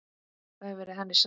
Það hefur verið henni sárt.